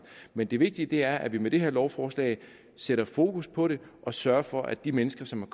men det vigtige er at vi med det her lovforslag sætter fokus på det og sørger for at de mennesker som